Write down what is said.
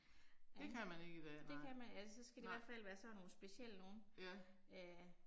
Det kan man eller så skal det i hvert fald være sådan nogle specielle nogle. Øh